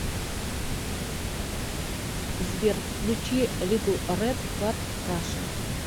сбер включи литл рэд кар раша